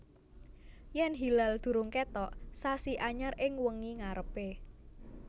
Yèn hilal durung kètok sasi anyar ing wengi ngarepé